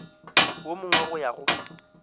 wo mongwe go ya go